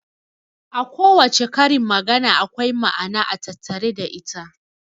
A kowace karin magana akwai ma'ana a tattare da ita.